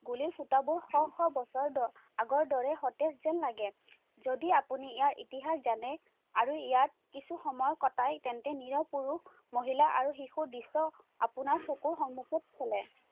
গুলিৰ ফুটাবোৰ শ শ বছৰ আগৰ দৰে সতেজ যেন লাগে, যদি আপুনি ইয়াৰ ইতিহাস জানে, আৰু ইয়াত কিছু সময় কটায়, তেন্তে, নিৰিহ পুৰুষ, মহিলা আৰু শিশুৰ দৃশ্য আপোনাৰ চকুৰ সন্মুখত চালে।